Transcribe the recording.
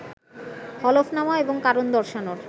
হলফনামা এবং কারণ দর্শানোর